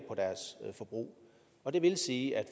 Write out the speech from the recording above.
deres forbrug og det vil sige at